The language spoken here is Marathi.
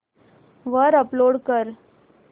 वर अपलोड कर